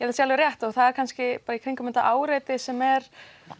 það sé alveg rétt það er kannski bara í kringum þetta áreiti sem er